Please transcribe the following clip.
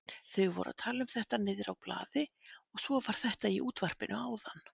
Þau voru að tala um þetta niðrá blaði og svo var þetta í útvarpinu áðan.